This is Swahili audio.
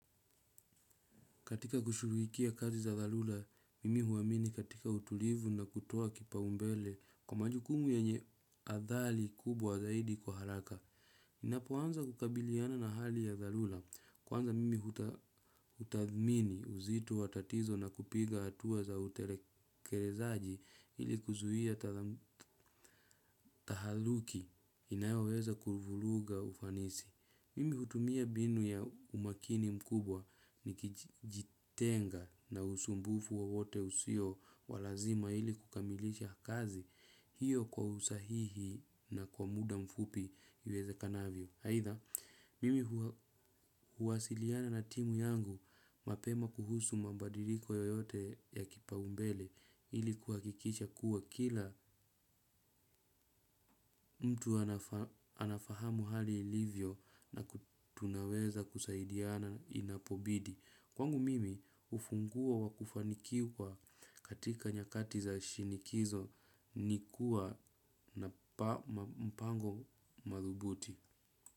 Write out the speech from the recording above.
Katika kushughulikia kazi za dharura, mimi huamini katika utulivu na kutoa kipa umbele kwa majukumu yenye athari kubwa zaidi kwa haraka. Ninapo anza kukabiliana na hali ya dharura. Kwanza mimi hutadhmini uzito wa tatizo na kupiga hatua za utelekelezaji ili kuzuia tahaluki inayoweza kuvuruga ufanisi. Mimi hutumia binu ya umaakini mkubwa ni kijitenga na usumbufu wowote usio wa lazima ili kukamilisha kazi hiyo kwa usahihi na kwa muda mfupi iwezekanavyo. Aidha, mimi huwasiliana na timu yangu mapema kuhusu mabadiliko yoyote ya kipaumbele ili kuhakikisha kuwa kila mtu anafahamu hali ilivyo na ku tunaweza kusaidiana inapobidi. Kwangu mimi ufunguo wa kufanikiwa katika nyakati za shinikizo nikua na mpango madhubuti.